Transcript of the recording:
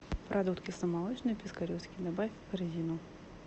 продукт кисломолочный пискаревский добавь в корзину